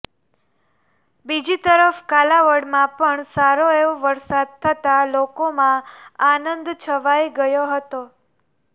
બીજી તરફ કાલાવડમાં પણ સારો એવો વરસાદ થતા લોકોમાં આનંદ છવાય ગયો હતો